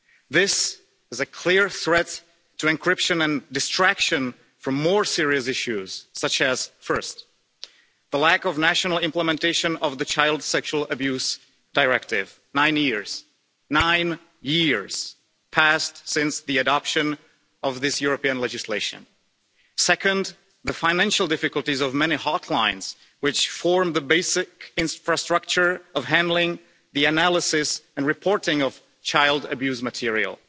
This is a clear threat to encryption and distraction from more serious issues, such as first, the lack of national implementation of the Child Sexual Abuse Directive nine whole years have passed since the adoption of this European legislation second, the financial difficulties of many hotlines, which form the basic infrastructure of handling the analysis and reporting of child abuse material